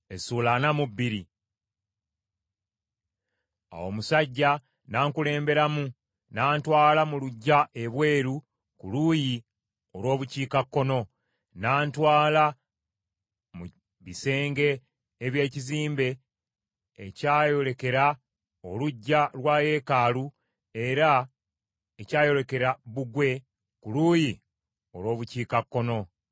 Awo omusajja n’ankulemberamu n’antwala mu luggya ebweru ku luuyi olw’Obukiikakkono, n’antwala mu bisenge eby’ekizimbe ekyayolekera oluggya lwa yeekaalu era ekyayolekera bbugwe ku luuyi olw’Obukiikakkono.